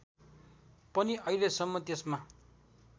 पनि अहिलेसम्म त्यसमा